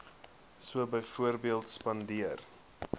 so byvoorbeeld spandeer